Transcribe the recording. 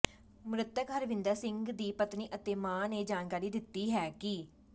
ਮ੍ਰਤਕ ਹਰਵਿੰਦਰ ਸਿੰਘ ਦੀ ਪਤਨੀ ਅਤੇ ਮਾਂ ਨੇ ਜਾਣਕਾਰੀ ਦਿੱਤੀ ਹੈ ਕਿ